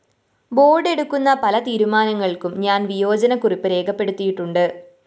board എടുക്കുന്ന പല തീരുമാനങ്ങള്‍ക്കും ഞാന്‍ വിയോജനക്കുറിപ്പ് രേഖപ്പെടുത്തിയിട്ടുണ്ട്